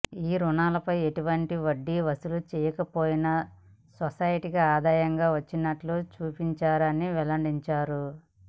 ఈ రుణాలపై ఎటువంటి వడ్డీ వసూలు చేయకపోయినా సొసైటీకి ఆదాయం వచ్చినట్లు చూపించారని వెల్లడించింది